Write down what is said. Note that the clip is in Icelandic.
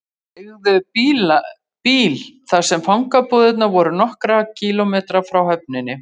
Þeir leigðu bíl þar sem fangabúðirnar voru nokkra kílómetra frá höfninni.